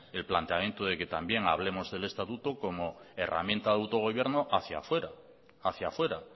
el planteamiento de que también hablemos del estatuto como herramienta de autogobierno hacia fuera